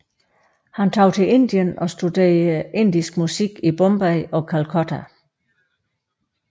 Han tog til Indien og studerede indisk musik i Bombay og Calcutta